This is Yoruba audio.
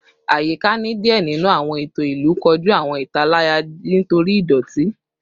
Ayika ni diẹ ninu awọn eto ilu koju awọn italaya nitori idoti